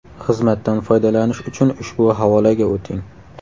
Xizmatdan foydalanish uchun ushbu havolaga o‘ting.